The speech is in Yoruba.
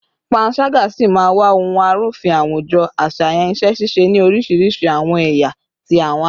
Panṣaga si maa wa ohun arufin awujo aṣayan iṣẹ-ṣiṣe ni orisirisi awọn ẹya ti awọn aye